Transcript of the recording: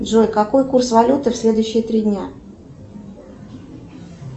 джой какой курс валюты в следующие три дня